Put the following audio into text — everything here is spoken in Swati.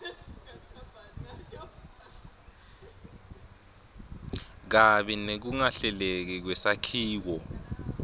kabi nekungahleleki kwesakhiwo